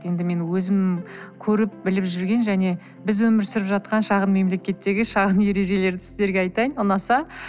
енді мен өзім көріп біліп жүрген және біз өмір сүріп жатқан шағын мемелекеттегі шағын ережелерді сіздерге айтайын ұнаса